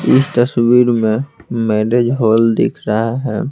इस तस्वीर में मैरिज हॉल दिख रहा है।